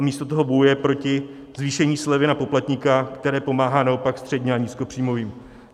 A místo toho bojuje proti zvýšení slevy na poplatníka, které pomáhá naopak středním a nízkopříjmovým.